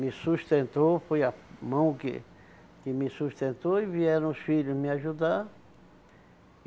Me sustentou, foi a mão que que me sustentou e vieram os filhos me ajudar.